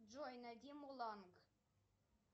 джой найди муланг